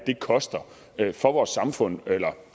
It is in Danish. koster for vores samfund eller